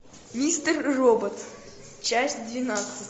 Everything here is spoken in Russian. мистер робот часть двенадцать